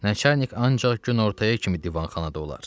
Nəçarnik ancaq günortaya kimi divanxanada olar.